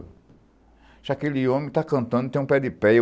Disse, aquele homem tá cantando, tem um pé de péia.